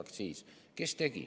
Kes tegi?